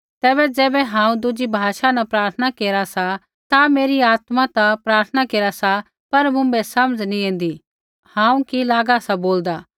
तैबै ज़ैबै हांऊँ दुज़ी भाषा न प्रार्थना केरा सा ता मेरी आत्मा ता प्रार्थना केरा सा पर मुँभै समझ नैंई ऐन्दी हांऊँ कि लागा सा बोलदा